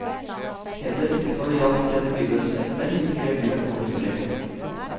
Heller ikke når det gjaldt religiøse emner gikk revyen over streken.